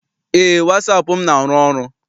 Eé, wasaapụ m na- arụ ọrụ.